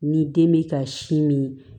Ni den bɛ ka sin min